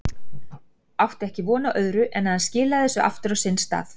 Átti ekki von á öðru en að hann skilaði þessu aftur á sinn stað.